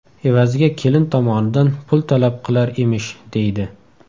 Evaziga kelin tomondan pul talab qilar emish”, deydi.